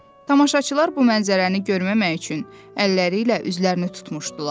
Tamaşaçılar bu mənzərəni görməmək üçün əlləri ilə üzlərini tutmuşdular.